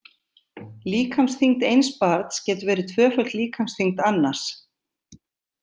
Líkamsþyngd eins barns getur verið tvöföld líkamsþyngd annars.